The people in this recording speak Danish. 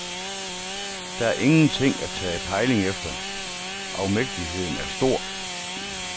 Der er ingenting at tage pejling efter, afmægtigheden er stor.